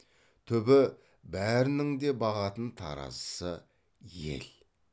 түбі бәрінің де бағатын таразысы ел